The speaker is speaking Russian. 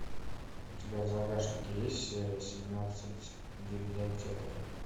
у тебя в загашнике есть серия семнадцать библиотекари